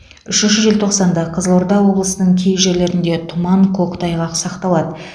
үшінші желтоқсанда қызылорда облысының кей жерлерінде тұман көктайғақ сақталады